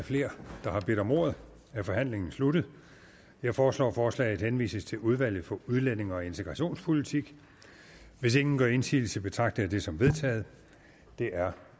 flere der har bedt om ordet er forhandlingen sluttet jeg foreslår at forslaget henvises til udvalget for udlændinge og integrationspolitik hvis ingen gør indsigelse betragter jeg det som vedtaget det er